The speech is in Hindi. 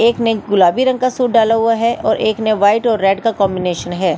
एक ने गुलाबी रंग का सूट डाला हुआ है और एक ने वाइट और रेड का कॉम्बिनेशन है।